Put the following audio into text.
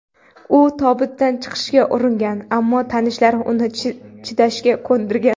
U tobutdan chiqishga uringan, ammo tanishlari uni chidashga ko‘ndirgan.